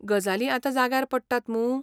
गजाली आतां जाग्यार पडटात मूं?